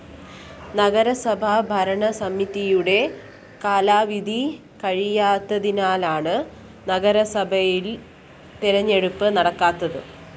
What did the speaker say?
നഗരസഭാ ഭരണസമിതിയുടെ കാലാവധി കഴിയാത്തതിനാലാണ് നഗരസഭയില്‍ തെരഞ്ഞെടുപ്പ് നടക്കാത്തത്